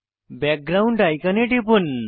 background আইকনে টিপুন